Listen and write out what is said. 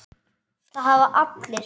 Það hafa allir